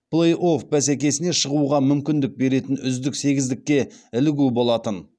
плей офф бәсекесіне шығуға мүмкіндік беретін үздік сегіздікке ілігу болатын